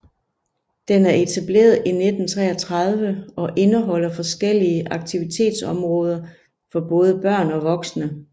Den er etableret i 1933 og indeholder forskellige aktivitetsområder for både børn og voksne